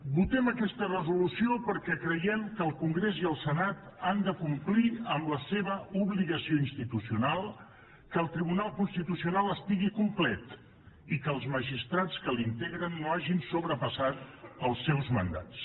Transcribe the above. votem aquesta resolució perquè creiem que el congrés i el senat han de complir amb la seva obligació institucional que el tribunal constitucional estigui complet i que els magistrats que l’integren no hagin sobrepassat els seus mandats